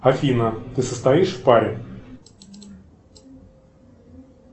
афина ты состоишь в паре